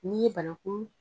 N'i ye bananku